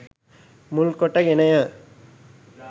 මුල් කොට ගෙන ය.